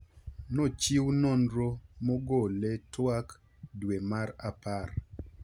nochiw nonro mogole twak dwe mar Apar